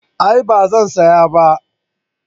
A'a ba zan saya ba